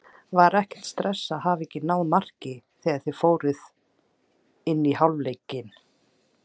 Var ekkert stress að hafa ekki náð marki þegar þið fóruð inn í hálfleikinn?